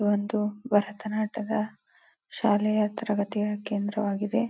ಒಂದು ಭರತನಾಟ್ಯದ ಶಾಲೆಯ ತರಗತಿಯ ಕೇಂದ್ರವಾಗಿದೆ.